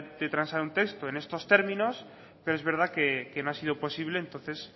de transar un texto en estos términos pero es verdad que no ha sido posible entonces